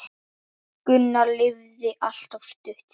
Gunnar lifði allt of stutt.